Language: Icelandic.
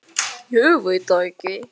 Þóra: Hvaðan kemur þessi tala?